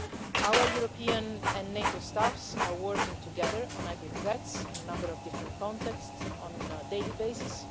Our European and NATO staffs are working together on hybrid threats in a number of different contexts on a daily basis.